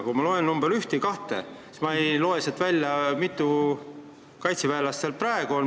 " Kui ma loen punkte nr 1 ja 2, siis ma ei loe sealt välja, mitu kaitseväelast seal praegu on.